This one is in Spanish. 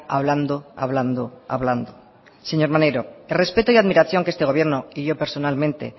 hablando hablando hablando señor maneiro el respeto y admiración que este gobierno y yo personalmente